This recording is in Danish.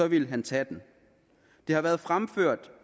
ville han tage den det har været fremført